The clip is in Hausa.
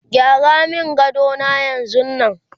gyara min gadona yanzun Nan!